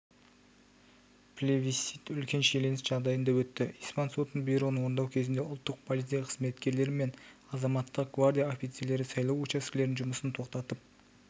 плебисцит үлкен шиеленіс жағдайында өтті испан сотының бұйрығын орындау кезінде ұлттық полиция қызметкерлері мен азаматтық гвардия офицерлері сайлау учаскелерінің жұмысын тоқтатып